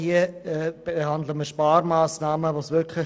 Wir behandeln hier Sparmassnahmen der GEF.